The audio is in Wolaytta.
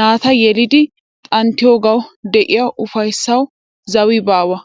naata yelidi xanttiyoogawu de'iya ufayssawu zawi baawa.